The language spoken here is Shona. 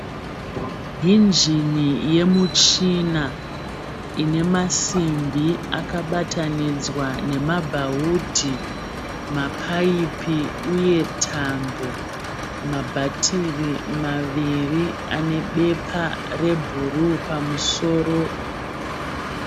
Injini yemuchini ine masimbi akabatanidzwa nemabhawudhi, mapayipi uye tambo. Mabhatiri maviri ane bepa rebhuruu pamusoro.